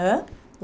Hã?